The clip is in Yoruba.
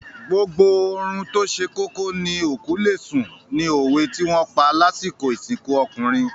“Gbogbo oorun tóse kókó ni òkú lesùn ” ni òwe tí wọ́n pa lásìkò ìsìnkú ọkùnrin.